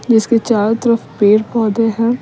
जिसके चारों तरफ पेड़ पौधे हैं।